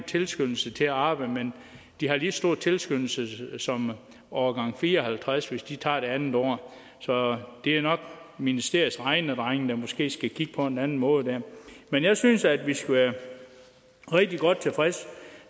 tilskyndelse til at arbejde men de har lige så stor tilskyndelse som årgang fire og halvtreds hvis de tager det andet år så det er nok ministeriets regnedrenge der måske skal kigge på en anden måde der men jeg synes at vi skal være rigtig godt tilfredse